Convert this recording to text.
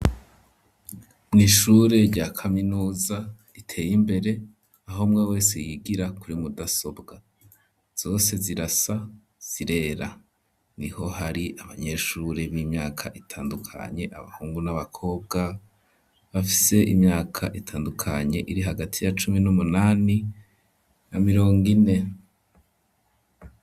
Mw'ishure rya kaminuza riteye imbere aho umwe wese yigira kuri mudasobwa zose zirasa zirera niho hari abanyeshure b'imyaka itandukanye abahungu n'abakobwa bafise imyaka itandukanye iri hagati ya cumi n'umunani na mirongo ine.